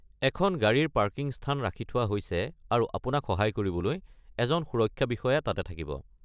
এখন গাড়ীৰ পাৰ্কিং স্থান ৰাখি থোৱা হৈছে, আৰু আপোনাক সহায় কৰিবলৈ এজন সুৰক্ষা বিষয়া তাতে থাকিব।